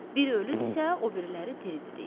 Bir ölüdürsə, o biriləri diridir, deyir.